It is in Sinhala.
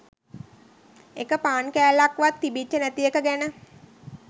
එක පාන් කෑල්ලක් වත් තිබිච්ච නැති එක ගැන.